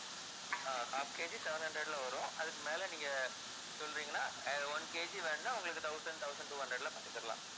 ஆஹ் half KG seven hundred ல வரும் அதுக்கு மேல நீங்கச் சொல்றீங்கன்னா அஹ் one KG வேணும்னா உங்களுக்கு thousand, thousand two hundred ல பண்ணித்தரலாம்.